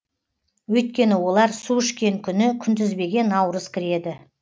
өйткені олар су ішкен күні күнтізбеге наурыз кіреді